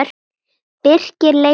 Birkir leit á blaðið.